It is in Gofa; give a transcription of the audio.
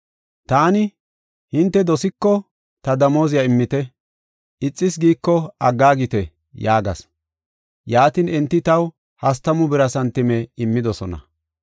Taani, “Hinte dosiko ta damooziya immite; ixas giiko aggaagite” yaagas. Yaatin enti taw hastamu bira santime immidosona.